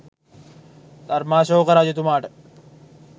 ධර්මාශෝක රජතුමාට